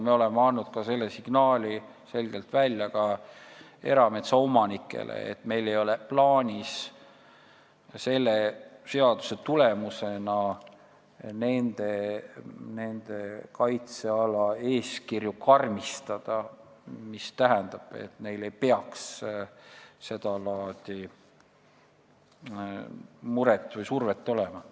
Me oleme andnud selge signaali ka erametsaomanikele, et meil ei ole plaanis selle seaduse tulemusena nende kaitsealade eeskirju karmistada, mis tähendab, et neil ei peaks seda laadi muret või survet olema.